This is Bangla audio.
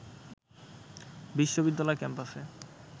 বিশ্ববিদ্যালয় ক্যাম্পাসে